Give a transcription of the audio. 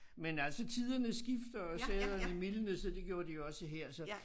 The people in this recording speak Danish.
Men altså tiderne skifter og sæderne mildnes og det gjorde de jo også her så